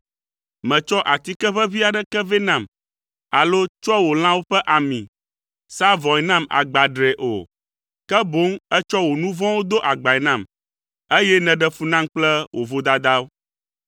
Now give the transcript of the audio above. Mètsɔ atikeʋeʋĩ aɖeke vɛ nam alo tsɔa wò lãwo ƒe ami sãa vɔ̃e nam agbadree o, ke boŋ ètsɔ wò nu vɔ̃wo do agbae nam, eye nèɖe fu nam kple wo vodadawo.